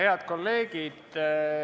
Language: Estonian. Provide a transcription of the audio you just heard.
Head kolleegid!